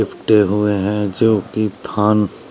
हुए हैं जो कि थान --